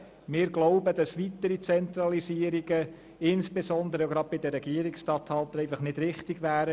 Wir glauben, dass weitere Zentralisierungen, insbesondere bei den Regierungsstatthaltern, einfach nicht richtig sind.